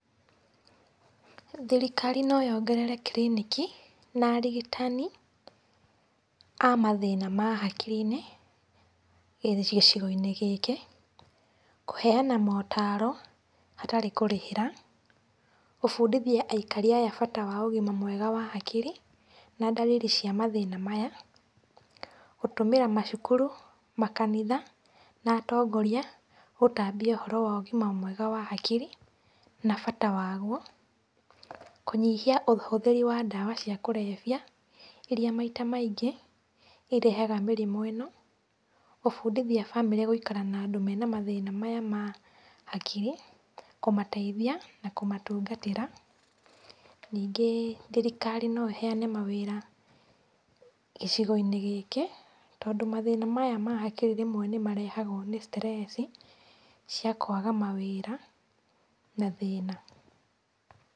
Thirikari no yongerere kiriniki na arigitani a mathĩna ma hakiri-inĩ gĩcigo-inĩ gĩkĩ, kũheana motaaro hatarĩ kũrĩhĩra, gũbundithia aikari aya bata wa ũgima mwega wa hakiri, na ndariri cia mathĩna maya. Gũtũmĩra macukuru, makanitha na atongoria gũtambia ũhoro wa ũgima mwega wa hakiri na bata waguo. Kũnyihia ũhũthĩri wa ndawa cia kũrebia, iria maita maingi irehaga mĩrimũ ĩno. Kũbundithia bamĩrĩ gũikara na andũ mena mathĩna maya ma hakiri, kũmateithia na kũmatungatĩra. Ningĩ, thirikari no ĩheyane mawĩra gĩcigo-inĩ gĩkĩ, tondũ mathĩna maya ma hakiri rĩmwe nĩmarehagwo nĩ stress, cia kwaga mawĩra na thĩna.